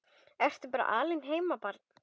Ertu bara alein heima barn?